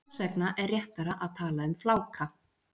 Þess vegna er réttara að tala um fláka.